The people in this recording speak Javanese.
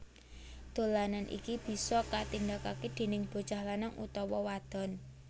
Dolanan iki bisa katindakake déning bocah lanang utawa wadon